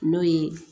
N'o ye